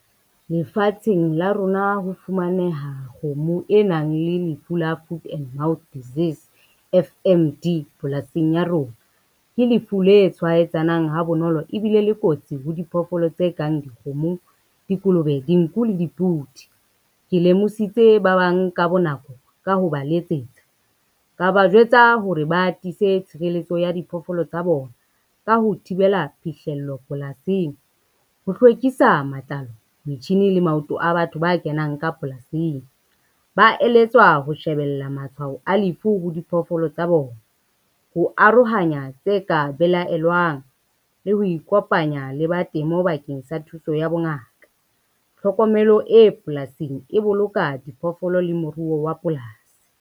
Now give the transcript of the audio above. Lefatsheng la rona ho fumaneha kgomo e nang le lefu la Food and Mouth Disease F_M_D polasing ya rona. Ke lefu le tshwaetsanang ha bonolo ebile le kotsi ho diphoofolo tse kang dikgomo, dikolobe, dinku le dipudi. Ke lemose bitse ba bang ka bonako ka ho ba letsetsa, ka ba jwetsa hore ba tiise tshireletso ya diphoofolo tsa bona, ka ho thibela phihlello polasing, ho hlwekisa matlalo, metjhini le maoto a batho ba kenang ka polasing ba eletswa ho shebella matshwao a lefu ho diphoofolo tsa bona. Ho arohanya tse ka belaela jwang le ho ikopanya le ba temo bakeng sa thuso ya bongaka. Tlhokomelo e polasing e boloka diphoofolo le moruo wa polasi.